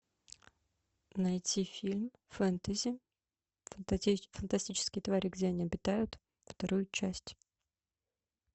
найти фильм фэнтези фантастические твари и где они обитают вторую часть